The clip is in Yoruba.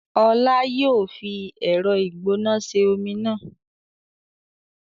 Ọlá yìí ó fi ẹ̀rọ ìgbóná ṣe omi náà